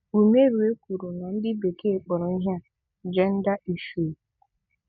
Ùmérùé kwùrù nà 'Ndị́ bèkéè kpọ̀rọ̀ íhé à' 'Gender Issues'